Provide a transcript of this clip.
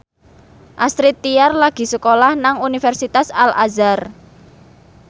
Astrid Tiar lagi sekolah nang Universitas Al Azhar